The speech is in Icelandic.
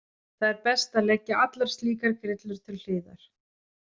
Það er best að leggja allar slíkar grillur til hliðar.